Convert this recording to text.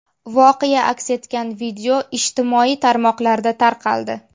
Voqea aks etgan video ijtimoiy tarmoqlarda tarqaldi .